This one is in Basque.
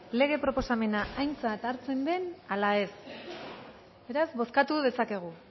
lege proposamena aintzat hartzen den ala ez beraz bozkatu dezakegu